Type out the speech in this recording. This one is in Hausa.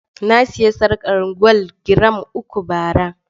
Na sayi sarƙar gwal giram uku bara.